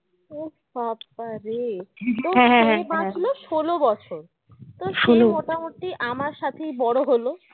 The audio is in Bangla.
উহ বাবা রে ষোলো বছর মোটামোটি আমার সাথেই বড়ো হলো